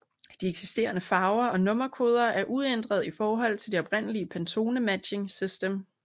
De eksisterende farver og nummerkoder er uændret i forhold til det oprindelige Pantone Matching System